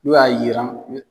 N'u y'a yiran